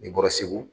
N'i bɔra segu